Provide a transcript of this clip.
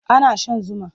Ana shan zuma.